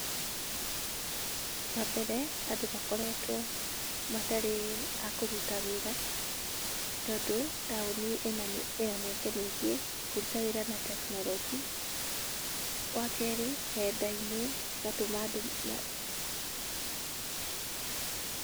Wambere, andũ makoretwo matarĩ a kũruta wĩra, tondũ taũni ĩna ĩna mĩeke mĩingĩ ya kũruta wĩra na tekinoronjĩ. Wa kerĩ, nenda-inĩ cigatũma andũ ma.